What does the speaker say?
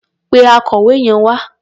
Pe akọ̀wé yẹn wá.